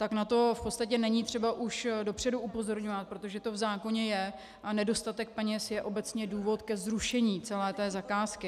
Tak na to v podstatě není třeba už dopředu upozorňovat, protože to v zákoně je, a nedostatek peněz je obecně důvod ke zrušení celé té zakázky.